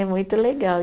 É muito legal.